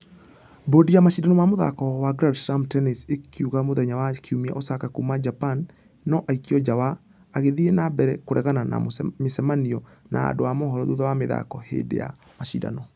Bodi ya mashidano ma mũthako wa grand slam tennis ĩkiuga mũthenya wa kiumia Osaka kuuma japan nũ aikio nja wa ....agĩthie na mbere kũregana na mĩcamanio na andũ a mũhoro thutha wa mĩthako hĩndĩ ya mashidano.